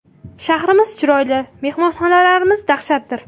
Shahrimiz chiroyli, mehmonxonalarimiz dahshatdir.